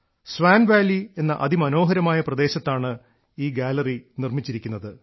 Swan Valley എന്ന അതിമനോഹരമായ പ്രദേശത്താണ് ഈ ഗാലറി നിർമ്മിച്ചിരിക്കുന്നത്